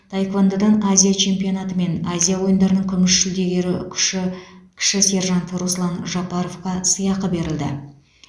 таеквондодан азия чемпионаты мен азия ойындарының күміс жүлдегері күші кіші сержант руслан жапаровқа сыйақы берілді